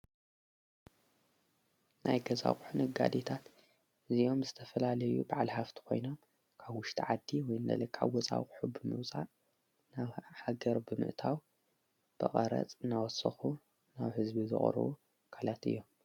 ናይ ገዛዂሑን ኣጋዴታት እዚዮም ዝተፈላለዩ በዕል ሃፍቲ ኾይና ካብ ዉሽቲ ዓዲ ወይ እነለቃኣ ወፃዊሑብምዉፃእ ናብ ሓገር ብምእታው ብቐረጽ ናወስኹ ናብ ሕዝቢ ዝቕርዉ ኣካላት እዮም።